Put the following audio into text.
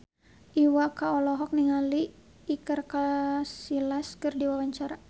Iwa K olohok ningali Iker Casillas keur diwawancara